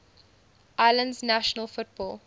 islands national football